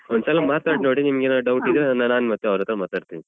ಒಂದ್ಸಲ ಮಾತಾಡಿ ನೋಡಿ ಮತ್ತೆ ಏನಾದ್ರು doubt ಇದ್ರೆ ನಾನು ಮತ್ತೆ ಅವ್ರತ್ರ ಮಾತಾಡ್ತೇನೆ.